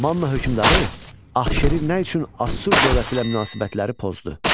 Manna hökmdarı Axşeri nə üçün Assur dövləti ilə münasibətləri pozdu?